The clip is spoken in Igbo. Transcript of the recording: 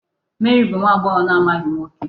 Mary bụ nwa agbọghọ na-amaghị nwoke.